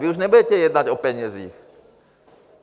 Vy už nebudete jednat o penězích.